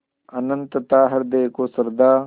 अनंतता हृदय को श्रद्धा